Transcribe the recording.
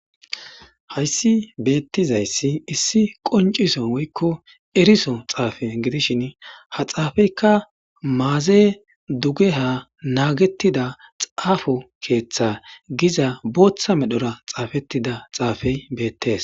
Hays betizays issi qonciso woyko eriso xafe gidishin ha xafeyka maze dugeha nagetida xafo ketha diza botha medhora xafetida xafey betes